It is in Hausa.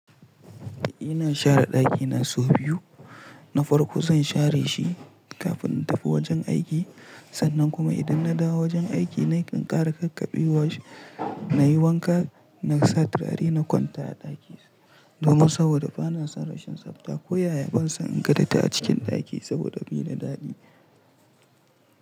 Ina share ɗakina sau biyu. Na farko zan share shi kafin in tafi wajen aiki sannan kuma idan na dawo wajen aiki na ƙin ƙara kakkabewa, na yi wanka na sa turare na kwanta a ɗaki domin saboda ba na son rashin tsafta ko yaya ban so in ga datti a cikin ɗaki saboda baida daɗi.